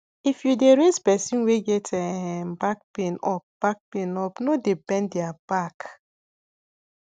if you dey raise person wey get um back pain up back pain up no dey bend their back